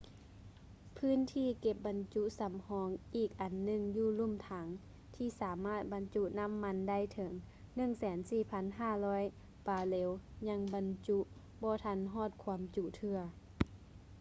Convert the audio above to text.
ພື້ນທີ່ເກັບບັນຈຸສຳຮອງອີກອັນໜຶ່ງຢູ່ລຸ່ມຖັງ ທີ່ສາມາດບັນຈຸນໍ້າມັນໄດ້ 104,500 ບາເຣວ ຍັງບັນຈຸບໍ່ທັນຮອດຄວາມຈຸເທື່ອ